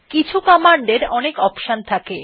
কিছু কমান্ড এর অনেক অপশন থাকে